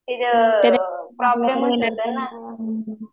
त्याच प्रॉब्लेम